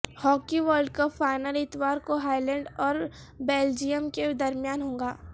hockey world cup final اتوار کو Holland اور بیلجیم کے درمیان ہوگا